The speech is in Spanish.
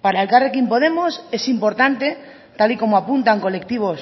para elkarrekin podemos es importante tal y como apuntan colectivos